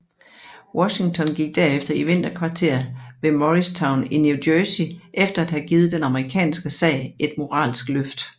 Washington gik derefter i vinterkvarter ved Morristown i New Jersey efter at have givet den amerikanske sag et moralsk løft